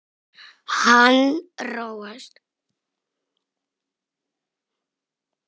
Hann róast.